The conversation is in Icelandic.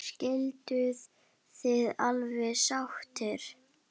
Skilduð þið alveg sáttir?